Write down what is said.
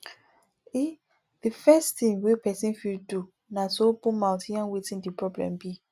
um the first thing wey person fit do na to open mouth yarn wetin di problem be